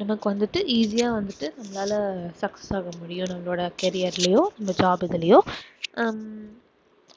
நமக்கு வந்துட்டு easy ஆ வந்துட்டு நம்மளால sucess ஆக முடியும் நம்மளோட career லயும் இந்த job இதுலயும் ஹம்